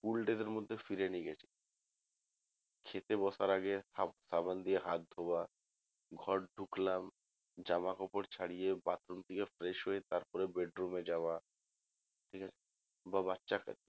School days এর মধ্যে ফিরে নিয়ে গেছি খেতে বসার আগে সাবান দিয়ে হাত ধুয়া ঘর ঢুকলাম জামা কাপড় ছাড়িয়ে bathroom থেকে fresh হয়ে তারপর bedroom এ যাওয়া ঠিক আছে বা বাচ্চা